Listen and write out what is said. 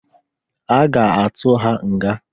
A ga-atụ ha nga.